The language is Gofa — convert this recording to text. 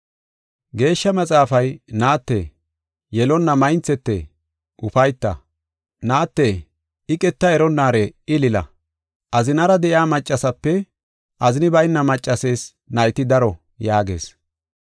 Geeshsha Maxaafay, “Naatte, yelonna maynthete ufayta; naate iqeta eronnaare ilila. Azinara de7iya maccaseepe, azini bayna maccasees nayti daro” yaagees.